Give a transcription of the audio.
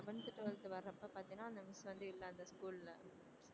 eleventh twelfth வரப்ப பாத்தின அந்த miss வந்து இல்லை அந்த school ல